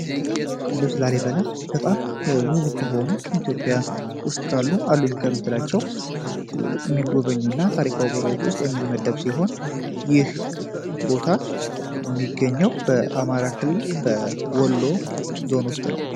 ቅዱስ ላላሴ በጣም ውብ ከሆኑ ኢትዮጵያ ውስጥ ጋሉ አሉኝ ከምትላቸው የሚገበኙ እና ታሪካው በረዎች ውስጥ የሚመደብ ሲሆን ይህ ቦታ የሚገኘው በአማራክልል በወሎ ዞን ውስጥ ነው፡፡